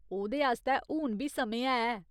ओह्‌दे आस्तै हुन बी समें है।